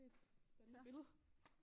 Spændende billede